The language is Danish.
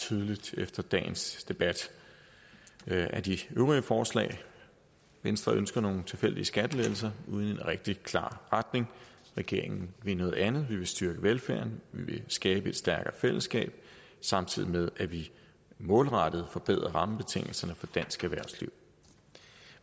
tydeligt efter dagens debat af de øvrige forslag venstre ønsker nogle tilfældige skattelettelser uden en rigtig klar retning regeringen vil noget andet vi vil styrke velfærden vi vil skabe et stærkere fællesskab samtidig med at vi målrettet forbedrer rammebetingelserne for dansk erhvervsliv